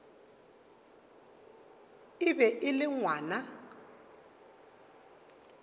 e be e le ngwana